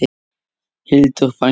Hildur frænka.